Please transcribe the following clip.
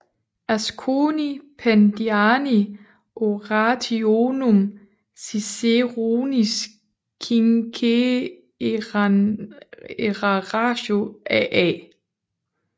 Asconii Pediani Orationum Ciceronis quinque enarratio af A